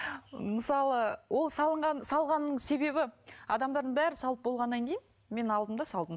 мысалы ол салғанның себебі адамдардың бәрі салып болғаннан кейін мен алдым да салдым